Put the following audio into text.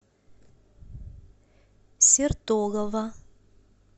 сертолово